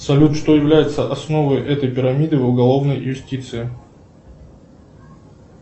салют что является основой этой пирамиды в уголовной юстиции